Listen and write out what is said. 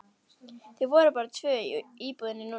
Þau voru bara tvö í íbúðinni núna.